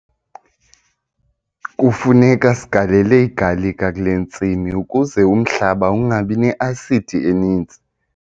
Kufuneka sigalele igalika kule ntsimi ukuze umhlaba ungabi ne-asidi eninzi.